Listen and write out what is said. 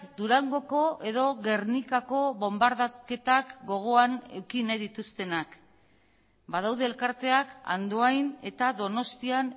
durangoko edo gernikako bonbardaketak gogoan eduki nahi dituztenak badaude elkarteak andoain eta donostian